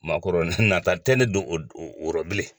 Maa kɔrɔ nata tɛ ne don o rɔ bilen.